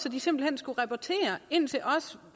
at de simpelt hen skulle rapportere ind til os